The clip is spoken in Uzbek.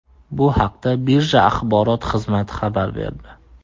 Bu haqda birja axborot xizmati xabar berdi .